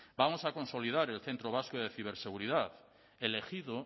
vamos a consolidar el centro vasco de ciberseguridad elegido